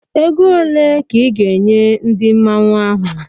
Ego ole ka ị ga-enye ndị Mmanwu ahụ?